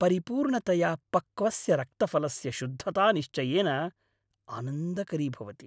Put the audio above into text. परिपूर्णतया पक्वस्य रक्तफलस्य शुद्धता निश्चयेन आनन्दकरी भवति।